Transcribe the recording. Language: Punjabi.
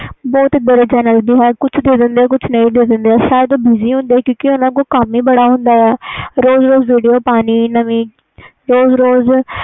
ਬਹੁਤ ਚੈਨਲ ਹੁੰਦੇ ਆ ਜੋ ਨਹੀਂ ਦਿੰਦੇ ਆ ਤੇ ਜੋ ਦਿੰਦੇ ਆ ਸ਼ਇਦ ਉਹ busy ਹੁੰਦੇ ਆ ਕਿਉਕਿ ਓਹਨਾ ਕੋਲ ਕਮ ਹੀ ਬੜਾ ਹੁੰਦਾ ਆ ਰੋਜ਼ ਰੋਜ਼ ਵੀਡੀਓ ਪਾਨੀ ਨਵੀਂ